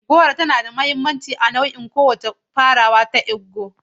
Goro tana da mahimmanci a kowane nau'in farawa a ƙasar Igbo.